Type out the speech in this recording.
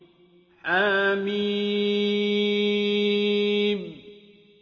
حم